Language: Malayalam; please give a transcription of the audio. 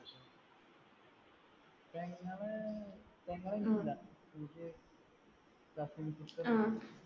പെങ്ങൾ എനിക്കില്ല. എനിക്ക് cousin sister